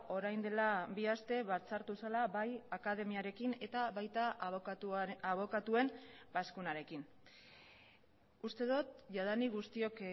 orain dela bi aste batzartu zela bai akademiarekin eta baita abokatuen bazkunarekin uste dut jadanik guztiok